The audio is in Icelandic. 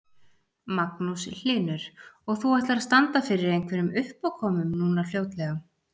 Magnús Hlynur: Og þú ætlar að standa fyrir einhverjum uppákomum núna fljótlega?